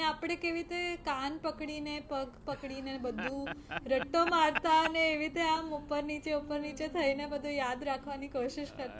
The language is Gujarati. અને આપણે કેવી રીતે કાન પકડી ને, પગ પકડી ને બધું રટો મારતા અને એવી રીતે આમ ઉપર નીચે ઉપર નીચે થઈને બધુ યાદ રાખવાની કોશિશ કરતાં.